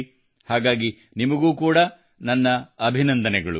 ಹಾಗಾಗಿ ನಿಮಗು ಕೂಡಾ ನಾನು ಅಭಿನಂದಿಸುತ್ತೇನೆ